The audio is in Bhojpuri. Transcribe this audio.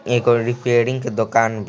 एक और रिपेयरिंग के दुकान --